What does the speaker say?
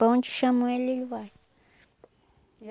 Para onde chamam ele, ele vai.